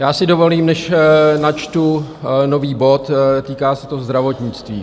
Já si dovolím, než načtu nový bod, týká se to zdravotnictví.